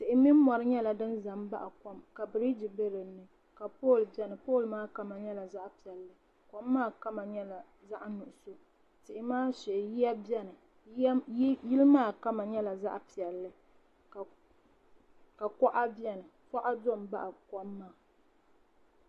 Tihi ni mori nyɛla din za m baɣi kom biriji be dinni ka pooli biɛni pooli maa kama nyɛla zaɣa piɛlli kom maa kama nyɛla zaɣa nuɣuso biriji maa shee yiya biɛni yili maam kama nyɛla zaɣa piɛlli ka kuɣa do m baɣi kom maa.